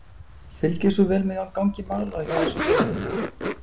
Fylgist þú vel með gangi mála hjá þessum félögum?